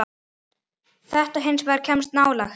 Þetta hins vegar kemst nálægt.